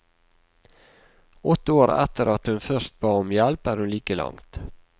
Åtte år etter at hun først ba om hjelp er hun like langt.